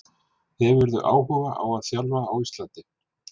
Hefurðu áhuga á að þjálfa á Íslandi?